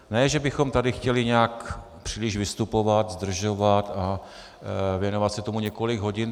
Ne že bychom tady chtěli nějak příliš vystupovat, zdržovat a věnovat se tomu několik hodin.